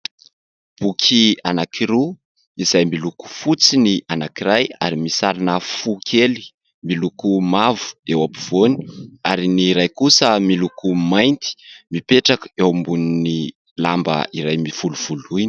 Boky anankiroa izay miloko fotsy ny anankiray ary misy sarina fo kely miloko mavo eo ampovoany, ary ny iray kosa miloko mainty; mipetraka eo ambonin'ny lamba iray mivolovoloina.